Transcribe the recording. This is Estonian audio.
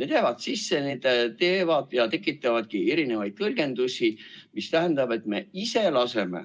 Need jäävad sisse ja need võimaldavad erinevaid tõlgendusi, mis tähendab, et meie,